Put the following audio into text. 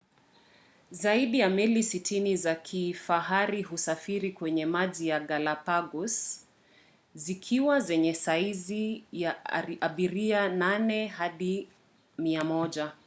zaidi ya meli 60 za kifahari husafiri kwenye maji ya galapagos - zikiwa zenye saizi ya abiria 8 hadi 100